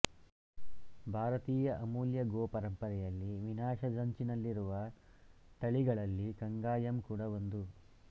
ಭಾರತೀಯ ಅಮೂಲ್ಯ ಗೋ ಪರಂಪರೆಯಲ್ಲಿ ವಿನಾಶದಂಚಿನಲ್ಲಿರುವ ತಳಿಗಳಲ್ಲಿ ಕಂಗಾಯಮ್ ಕೂಡ ಒಂದು